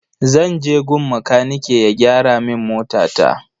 Zan je gun makanike ya gyara min motata.